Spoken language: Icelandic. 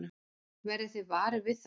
Verðið þið varir við það?